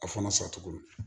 A fana sacogo